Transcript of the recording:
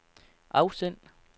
afsend